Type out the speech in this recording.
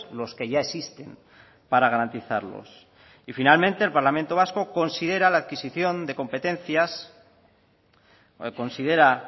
los que ya existen para garantizarlos y finalmente el parlamento vasco considera la adquisición de competencias considera